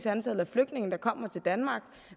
antallet af flygtninge der kommer til danmark